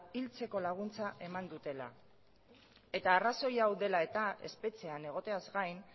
hiltzeko laguntza eman dutela eta arrazoia hau dela eta espetxean egoteaz gain